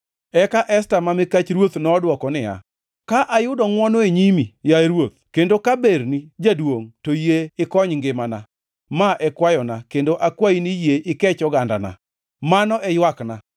Eka Esta ma mikach ruoth nodwoko niya, “Ka ayudo ngʼwono e nyimi, yaye ruoth, kendo ka berni jaduongʼ, to yie ikony ngimana, ma e kwayona, kendo akwayi ni yie ikech ogandana. Mano e ywakna.